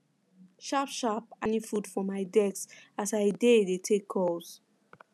sharp sharp i chop morning food for my desk as i dey dey take calls